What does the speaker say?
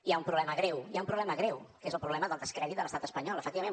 hi ha un problema greu hi ha un problema greu que és el problema del descrèdit de l’estat espanyol efectivament